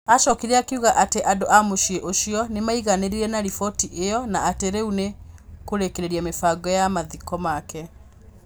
Aacokire akiuga atĩ andũ a mũciĩ ũcio nĩ maĩiganĩire na rivoti ĩyo na atĩ rĩu nĩ kurĩkĩrĩria mĩvango ya mathiko make.